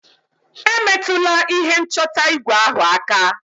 Emetụla ihe nchọta igwe ahụ aka!